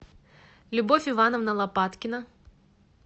любовь ивановна лопаткина